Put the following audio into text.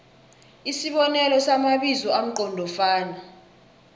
isibonelo samabizo amqondofana